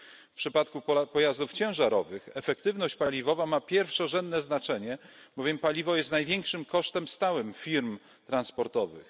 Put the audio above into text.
W przypadku pojazdów ciężarowych efektywność paliwowa ma pierwszorzędne znaczenie, bowiem paliwo jest największym kosztem stałym firm transportowych.